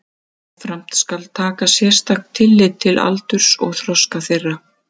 Jafnframt skal taka sérstakt tillit til aldurs og þroska þeirra.